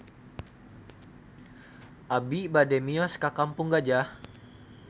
Abi bade mios ka Kampung Gajah